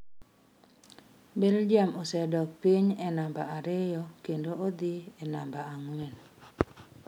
Belgium osedok piny e namba ariyo kendo odhi e namba ang’wen.